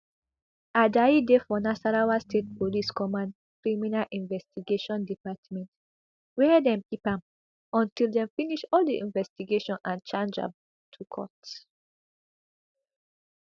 ajayi dey for nasarawa state police command criminal investigation department wia dem keep am until dem finish all di investigation and charge am to court